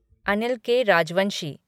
Anil K. Rajvanshi